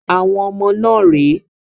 Àwọn ọmọ náà rè é.